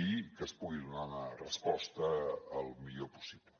i que es pugui donar resposta el millor possible